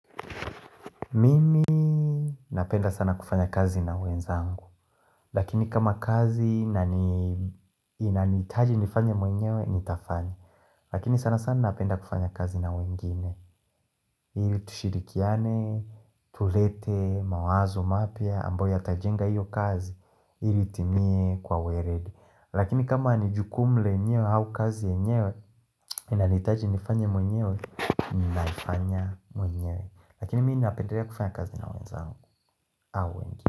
Mimi napenda sana kufanya kazi na wenzangu Lakini kama kazi inaniitaji nifanye mwenyewe, nitafanya Lakini sana sana napenda kufanya kazi na wengine ili tushirikiane, tulete, mawazo, mapya, ambao yatajenga hiyo kazi Hili itimie kwa weledi Lakini kama ni jukumu lenyewe au kazi yenyewe Inaniitaji nifanye mwenyewe, ninaifanya mwenyewe Lakini mi napendelea kufanya kazi na wenzangu au wengine.